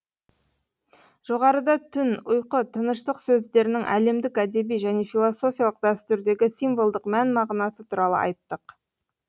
жоғарыда түн ұйқы тыныштық сөздерінің әлемдік әдеби және философиялық дәстүрдегі символдық мән мағынасы туралы айттық